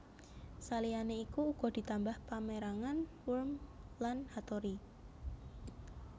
Saliyané iku uga ditambah pamérangan Wurm lan Hattori